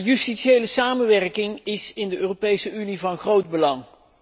Justitiële samenwerking in de Europese Unie is van groot belang.